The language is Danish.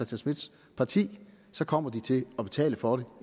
schmidts parti så kommer de til at betale for det